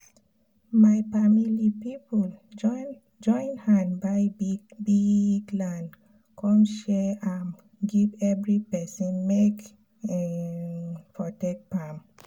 my famili pipu join hand buy biggg land come share am give everi pesin make um e for take farm